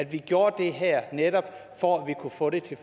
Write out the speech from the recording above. vi gjorde det her netop for at vi kunne få det til